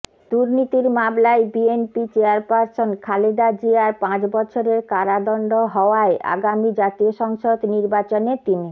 দুর্নীতির মামলায় BNP chairperson Khaleda জিয়ার পাঁচ বছরের কারাদণ্ড হওয়ায় আগামী জাতীয় সংসদ নির্বাচনে তিনি